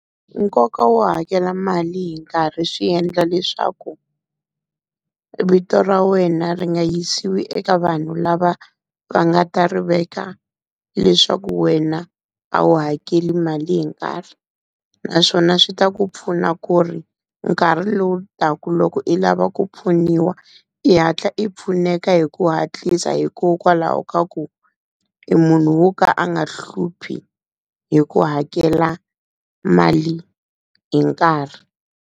Nkoka wo hakela mali hi nkarhi swi endla leswaku vito ra wena ri nga yisiwi eka vanhu lava va nga ta ri veka leswaku wena a wu hakeli mali hi nkarhi. Naswona swi ta ku pfuna ku ri nkarhi lowu taka loko i lava ku pfuniwa i hatla i pfuneka hi ku hatlisa hikokwalaho ka ku u munhu wo ka a nga hluphi hi ku hakela mali hi nkarhi.